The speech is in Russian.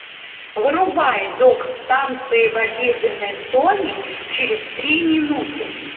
вырубай док станция в обеденной зоне через три минуты